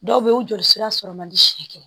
Dɔw bɛ yen o joli sira sɔrɔ man di si kɛ